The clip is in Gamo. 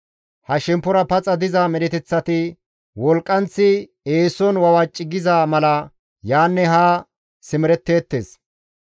Ha shemppora paxa diza medheteththati wolqqanththi eeson wawaci giza mala yaanne haa simeretteettes.